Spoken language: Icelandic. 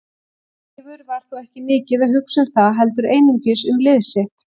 Leifur var þó ekki mikið að hugsa um það heldur einungis um lið sitt.